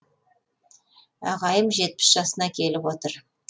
ағайым жетпіс жасына келіп отыр